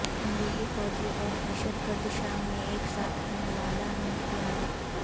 امریکی فوجی اور دہشتگرد شام میں ایک ساتھ ہم نوالہ ہم پیالہ